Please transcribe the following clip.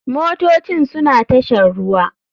Motocin suna tashar ruwa.